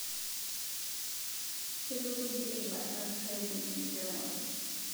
Kitukuji irbanor pejing enkiremore